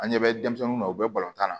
An ɲɛ bɛ denmisɛnninw na u bɛ balontan na